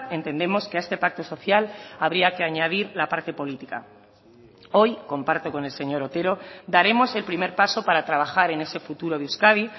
entendemos que a este pacto social habría que añadir la parte política hoy comparto con el señor otero daremos el primer paso para trabajar en ese futuro de euskadi